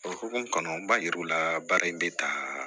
O hukumu kɔnɔ n b'a yir'u la baara in bɛ taa